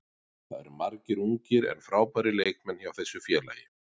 Það eru margir ungir en frábærir leikmenn hjá þessu félagi.